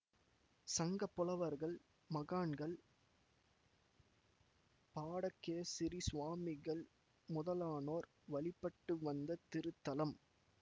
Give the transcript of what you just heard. சங்கப்புலவர்கள் மகான்கள்பாடகேசரி சுவாமிகள் முதலானோர் வழிபட்டு வந்த திருத்தலம்